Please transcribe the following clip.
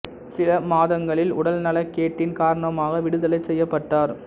சில மாதங்களில் உடல் நலக் கேட்டின் காரணமாக விடுதலை செய்யப்பட்டார்